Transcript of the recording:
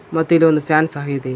ಮತ್ ಇದೊಂದ್ ಫ್ಯಾನ್ ಸಹ ಇದೆ.